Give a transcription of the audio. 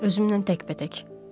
Özümlə təkbətək.